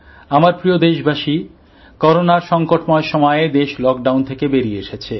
আমার প্রিয় দেশবাসী করোনার সংকটময় সময়ে দেশ লকডাউন থেকে বেরিয়ে এসেছে